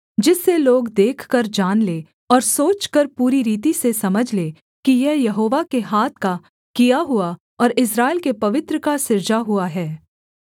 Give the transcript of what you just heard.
जिससे लोग देखकर जान लें और सोचकर पूरी रीति से समझ लें कि यह यहोवा के हाथ का किया हुआ और इस्राएल के पवित्र का सृजा हुआ है